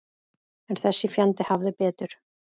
En þessi fjandi hafði betur.